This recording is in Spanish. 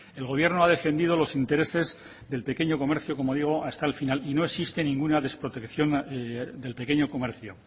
el gobierno ha defendido los intereses del pequeño comercio como digo hasta el final y no existe ninguna desprotección del pequeño comercio